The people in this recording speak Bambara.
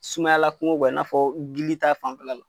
Sumayala kungo i n'a fɔ gili ta fanfɛla la.